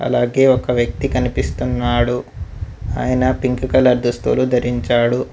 అలాగే ఒక వ్యక్తి కనిపిస్తున్నాడు ఆయన పింక్ కలర్ దుస్తులు ధరించాడు.